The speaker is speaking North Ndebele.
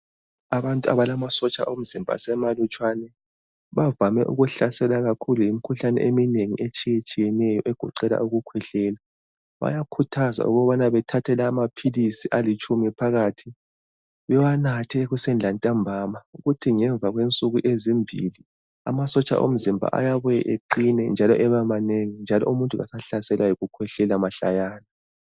Abantu abalamasotsha omzimba asemalutshwane bavame ukuhlaselwa kakhulu yimikhuhlane eminengi etshiyetshiyeneyo egoqela ukukhwehlela. Bayakhuthazwa ukubana bethathe lawa maphilisi alitshumi phakathi bewanathe ekuseni lantambama ukuthi ngemva kwensuku ezimbili amasotsha omzimba ayabuya eqine, njalo ebe manengi njalo umuntu akasahlaselwa yokukhwehlela mahlayana.